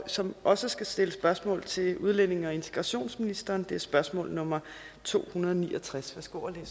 som også skal stille spørgsmål til udlændinge og integrationsministeren og det er spørgsmål nummer tohundrede og niogtredsende